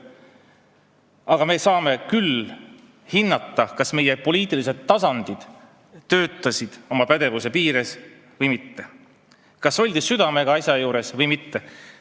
Aga me saame hinnata, kas meie poliitilised tasandid töötasid oma pädevuse piires või mitte, kas oldi südamega asja juures või mitte.